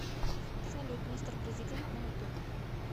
салют мистер президент на ютуб